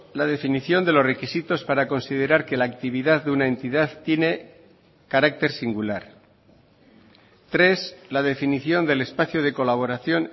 la definición de los requisitos para considerar que la actividad de una entidad tiene carácter singular tres la definición del espacio de colaboración